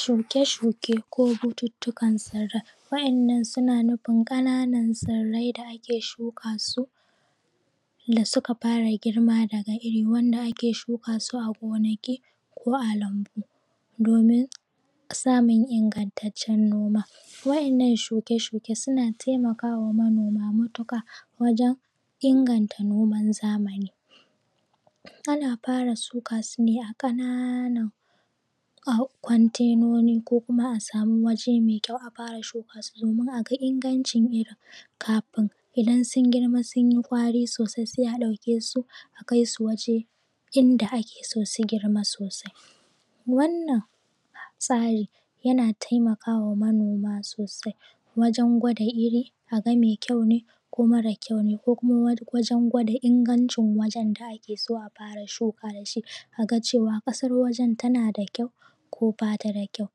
shuke-shuke ko batutukan tsira wannan suna nufin kananan tsirai da ake shuka su da suka fara girma daga iri wanda ake shuka su a gonaki ko a lambu domin samun ingantaccen noma waɗannan shuke-shuken suna taimakawa manoma matuƙa wajen inganta noman zamani ana fara shuka su ne a kananan a kwatenoni ko kuma a samu waje mai kyau a fara shuka su domin a ga ingancin irin kafin idan sun girma sun yi gwari sosai sai ɗaukesu a kai su waje inda ake so su girma sosai wannan tsarin yana taimakawa manoma sosai wajen gwada iri aga mai kyau ne ko mara kyau ne ko kuma wajen gwada ingancin wajen da ake so a fara shuka da shi aga cewa kasar wajen tana da kyau ko bata da kyau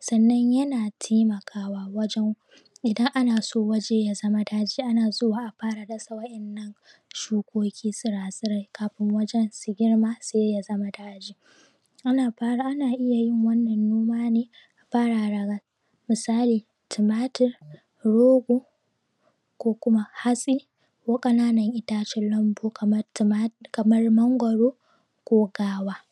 sannan yana taimakawa wajen idan ana so waje ya zama daji ana zuwa a fara dasa waɗannan shukoki tsira-tsirai kafin wajen su girma sai ya zama daji ana fara ana iya wannan noma ne fara daga misali tumatur rogo ko kuma hatsi ko kananan itacen lanbu kamar tuma kamar mangwaro ko gahuwa